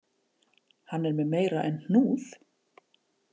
Hann er með meira en hnúð